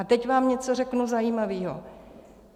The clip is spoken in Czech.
A teď vám něco řeknu zajímavého.